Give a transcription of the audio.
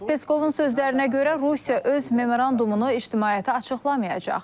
Peskovun sözlərinə görə Rusiya öz memorandumunu ictimaiyyətə açıqlamayacaq.